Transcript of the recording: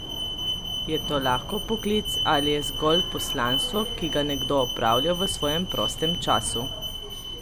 Je to lahko poklic ali je zgolj poslanstvo, ki ga nekdo opravlja v svojem prostem času?